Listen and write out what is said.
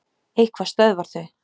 Eitthvað stöðvar þau.